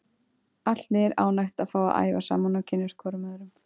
Allt liðið er ánægt að fá að æfa saman og kynnast hvorum öðrum.